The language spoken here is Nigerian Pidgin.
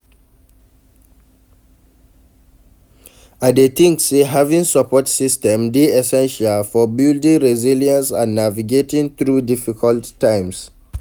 I dey think say having support system dey essential for building resilience and navigating through difficult times.